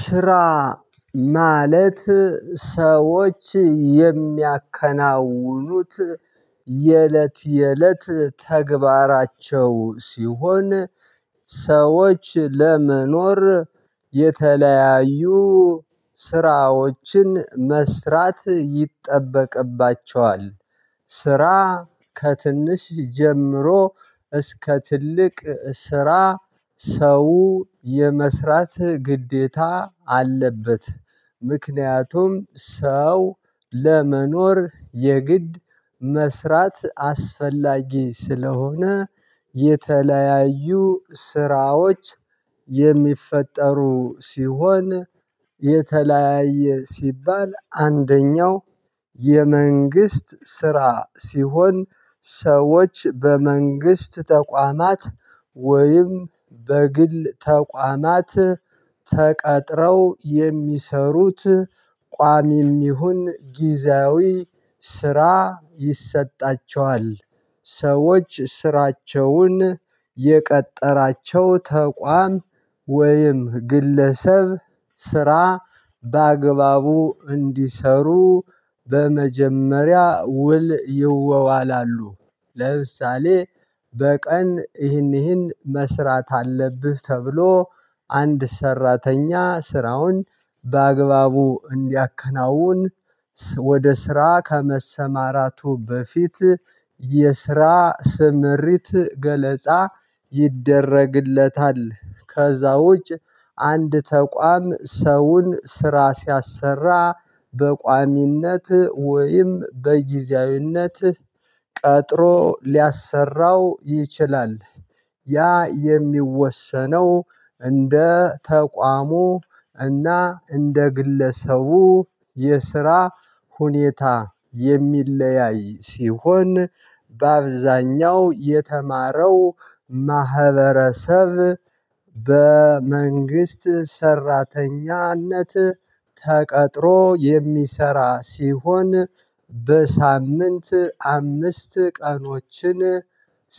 ስራ ማለት ሰዎች የሚያከናውኑት የእለት የእለት ተግባራቸው ሲሆን ሰዎች ለመኖር የተለያዩ ስራዎችን መስራት ይጠበቅባቸዋል። ስራ ከትንሽ ጀምሮ እስከ ትልቅ ስራ ሰው የመስራት ግዴታ አለበት። ምክንያቱም ሰው ለመኖር የግድ መስራት አስፈላጊ ስለሆነ። የተለያዩ ስራዎች የሚፈጠሩ ሲሆን የተለያየ ሲባል አንደኛው የመንግስት ስራ ሲሆን ሰዎች በመንግስት ተቋማት ወይም በግል ተቋማት ተቀጥረው የሚሰሩት ቋሚም ይሁን ጊዜያዊ ስራ ይሰጣቸዋል። ሰዎች ስራቸውን የቀጠራቸው ተቋም ወይም ግለሰብ ስራ በአግባቡ እንዲሰሩ በመጀመሪያ ውል ይወዋላሉ። ለምሳሌ በቀን ይህን ይህን መስራት አለብህ ተብሎ አንድ ሰራተኛ ስራውን በአግባቡ እንዲያከናውን ወደ ስራ ከመሰማራቱ በፊት የስራ ስምሪት ገለጻ ይደረግለታል። ከዛውጭ አንድ ተቋም ሰውን ስራ ሲያሰራ በቋሚነት ወይም በጊዜያዊነት ቀጥሮ ሊያሰራው ይችላል። ያ የሚወሰነው እንደ ተቋሙ እና እንደ ግለሰቡ የስራ ሁኔታ የሚለያይ ሲሆን። በአብዛኛው የተማረው ማህበረሰብ በመንግስት ሰራተኝነት ተቀጥሮ የሚሰራ ሲሆን። በሳምንት አምስት ቀኖችን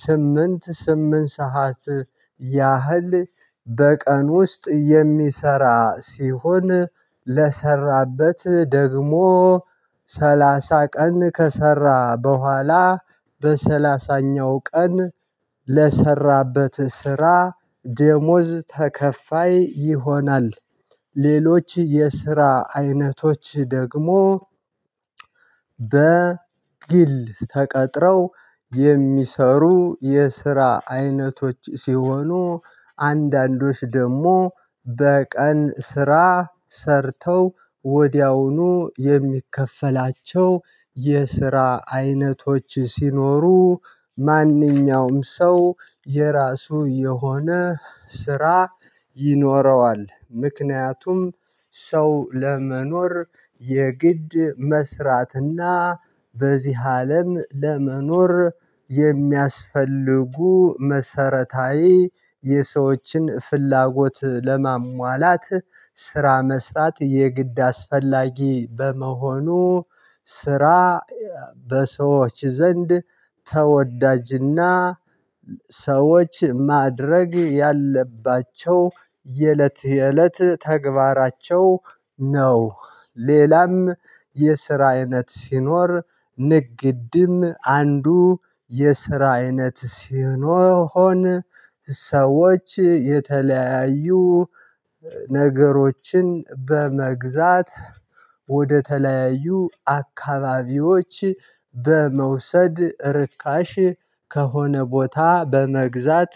ስምንት ስምንት ሰዓት ያህል በቀን ውስጥ የሚሰራ ሲሆን ለሰራበት ደግሞ ሰላሳ ቀን ከሰራ በኋላ በሰላሳኛው ቀን ለሰራበት ስራ ደሞዝ ተከፋይ ይሆናል። ሌሎች የስራ አይነቶች ደግሞ በግል ተቀጥረው የሚሰሩ የስራ አይነቶች ሲሆኑ አንዳንዶች ደግሞ በቀን ስራ ሰርተው ወዲያውኑ የሚከፈላቸው የስራ አይነቶች ሲኖሩ። ማንኛውም ሰው የራሱ የሆነ ስራ ይኖረዋል። ምክንያቱም ሰው ለመኖር የግድ መስራትና በዚህ አለም ለመኖር የሚያስፈልጉ መሰረታዊ የሰዎችን ፍላጎት ለማሟላት ስራ መስራት የግድ አስፈላጊ በመሆኑ። ስራ በሰዎች ዘንድ ተወዳጅና ሰዎች ማድረግ ያለባቸው የእለት የእለት ተግባራቸው ነው። ሌላም የስራ አይነት ሲኖር ንግድም አንዱ የስራ አይነት ሲሆን። ሰዎች የተለያዩ ነገሮችን በመግዛት ወደተለያዩ አካባቢዎች በመውሰድ ርካሽ ከሆነ ቦታ በመግዛት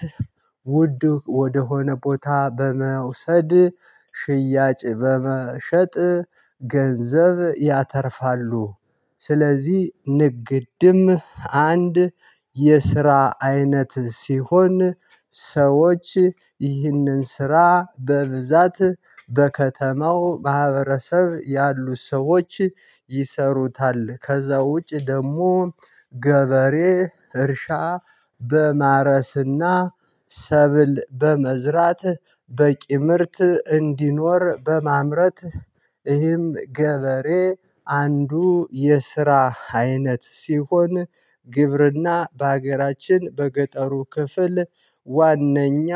ውድ ወደ ሆነ ቦታ በመውሰድ ሽያጭ በመሸጥ ገንዘብ ያተርፋሉ። ስለዚህ ንግድም አንድ የስራ አይነት ሲሆን። ሰዎች ይህንን ስራ በብዛት በከተማው ማህበረሰብ ያሉ ሰዎች ይሰሩታል። ከዛ ውጪ ደግሞ ገበሬ እርሻ በማረስና ሰብል በመዝራት በቂ ምርት እንዲኖር በማምረት ይህም ገበሬ አንዱ የስራ አይነት ሲሆን። ግብርና በሀገራችን በገጠሩ ክፍል ዋነኛ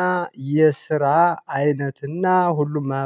የስራ አይነትና ሁሉም ማህበር